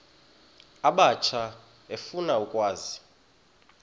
abatsha efuna ukwazi